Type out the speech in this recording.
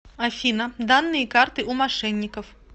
афина данные карты у мошенников